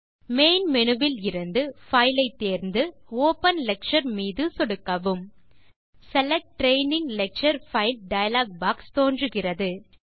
main menu விலிருந்து file ஐ தேர்ந்து ஒப்பன் லெக்சர் மீது சொடுக்கவும் select training lecture file dialogue தோன்றுகிறது